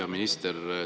Hea minister!